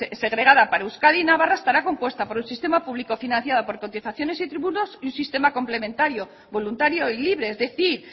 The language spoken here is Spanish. segregada para euskadi y navarra estará compuesta por un sistema público financiado por cotizaciones y tributos y un sistema complementario voluntario y libre es decir